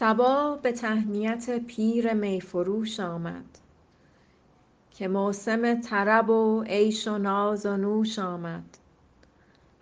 صبا به تهنیت پیر می فروش آمد که موسم طرب و عیش و ناز و نوش آمد